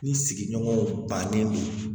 Ni sigiɲɔgɔnw bannen don